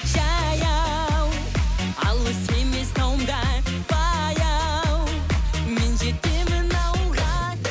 жаяу алыс емес тауың да баяу мен жетемін ауылға